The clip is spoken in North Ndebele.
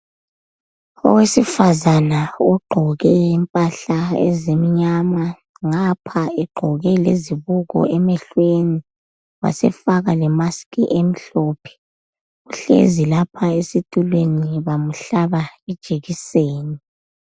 Owesifazana ogqoke impahla ezimnyama ngapha egqoke lezibuko emehlweni wasefaka le mask emhlophe uhlezi lapha esitulweni bamhlaba ijekiseni.